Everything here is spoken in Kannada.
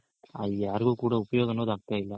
ಅದ್ ಯಾರ್ಗು ಕೂಡ ಉಪಯೋಗ ಅನ್ನೋದ್ ಆಗ್ತಾ ಇಲ್ಲ.